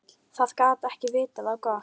Það gat ekki vitað á gott.